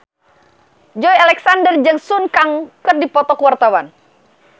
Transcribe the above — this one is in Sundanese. Joey Alexander jeung Sun Kang keur dipoto ku wartawan